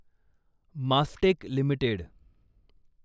Mastek limited